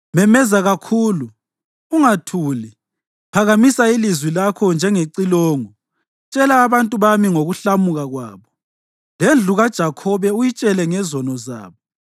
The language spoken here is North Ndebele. “Memeza kakhulu, ungathuli. Phakamisa ilizwi lakho njengecilongo. Tshela abantu bami ngokuhlamuka kwabo, lendlu kaJakhobe uyitshele ngezono zabo.